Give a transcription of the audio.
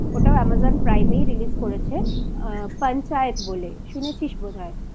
ওটাও Amazon Prime এই Release করেছে Panchayat বলে শুনেছিস বোধ হয়